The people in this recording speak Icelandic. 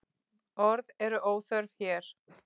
Orð eru óþörf hér.